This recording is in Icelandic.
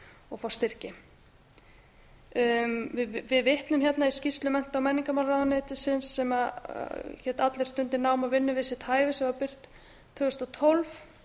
og fá styrki við vitnum hérna í skýrslu mennta og menningarmálaráðuneytisins sem heitir allir stundi nám og vinnu við sitt hæfi sem var birt tvö þúsund og tólf þar